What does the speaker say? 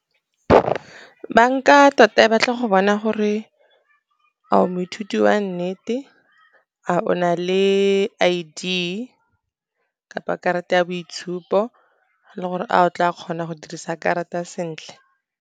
Banka tota e batla go bona gore a o moithuti wa nnete, a o na le I_D kana karata ya boitshupo le gore a o tla kgona go dirisa karata sentle.